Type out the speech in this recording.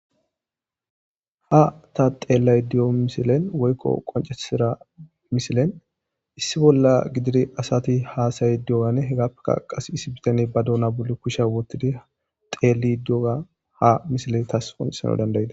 Ha ta xelayda diyo misilen woyko qoncisida misilen issi bolla gidid asat hasa'id diyoganne hegappeka qase issi bitaney ba duna bolli kusha wotid xelid diyoga ha misiley tas qoncisanas danda'des.